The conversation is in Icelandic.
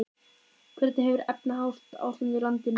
Hvernig hefur efnahagsástandið í landinu leikið ykkur?